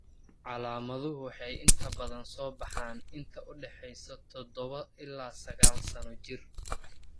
Calaamaduhu waxay inta badan soo baxaan inta u dhaxaysa 7 ilaa 9 sano jir.